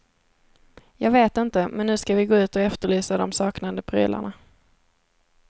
Jag vet inte, men nu skall vi gå ut och efterlysa de saknade prylarna.